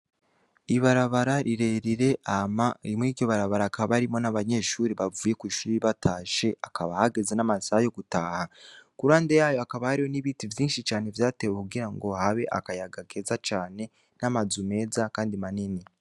Ibarabara rire rire hama muri iryo barabara hakaba harimwo n' abanyeshure bavuye kw' ishure batashe hakaba hageze n' amasaha yo gutaha, iruhande yayo hakaba hari n' ibiti vyinshi vyatewe kugira ngo habe akayaga keza cane n' amazu meza kandi manini.